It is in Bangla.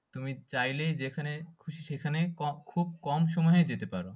তুমি চাইলেই যেখানে খুশি সেখানে খুব কম সময়ে যেতে পারো।